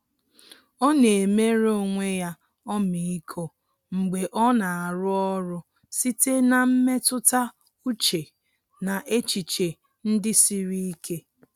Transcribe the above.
Ọ́ nà-éméré onwe ya ọmịiko mgbe ọ́ nà-árụ́ ọ́rụ́ site na mmetụta úchè na echiche ndị siri ike.